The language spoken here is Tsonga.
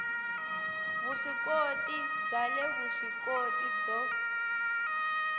vuswikoti bya le vuswikoti byo